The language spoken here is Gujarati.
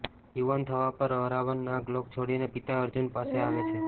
યુવાન થવા પર અરાવન નાગલોક છોડીને પિતા અર્જૂન પાસે આવે છે